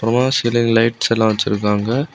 Ceiling லைட்ஸெல்லா வச்சிருக்காங்க.